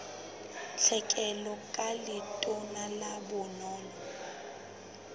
tlhekelo ka letona la bonono